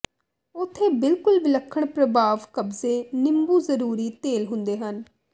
ਉੱਥੇ ਬਿਲਕੁਲ ਵਿਲੱਖਣ ਪ੍ਰਭਾਵ ਕਬਜ਼ੇ ਨਿੰਬੂ ਜ਼ਰੂਰੀ ਤੇਲ ਹੁੰਦੇ ਹਨ